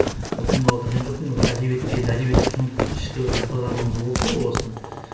ол киноға кірген жоқпын әдебиетке енді әдебиет іште бір ынтазарлығымыз болды ғой о бастан